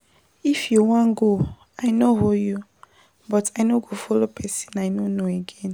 If you wan go I no hold you but I no go follow person I no know again.